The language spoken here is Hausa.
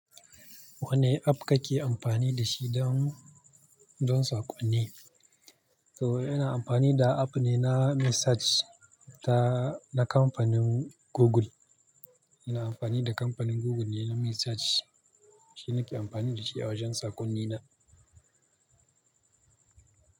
Wane app kake amfani da shi don, don saƙonni? To ina amfani da app ne na message ta, na kamfanin Google. Ina amfani da kamfanin Google ne na message. Shi nake amfani da shi a wajen saƙonni na.